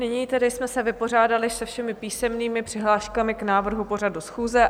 Nyní tedy jsme se vypořádali se všemi písemnými přihláškami k návrhu pořadu schůze.